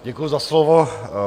Děkuji za slovo.